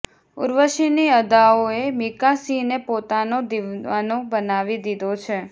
ઉર્વશી ની અદાઓ એ મીકા સિંહ ને પોતાનો દીવાનો બનાવી દીધો છે